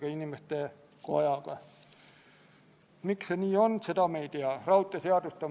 Ma palun ettekandjaks riigikaitsekomisjoni liikme Martin Repinski.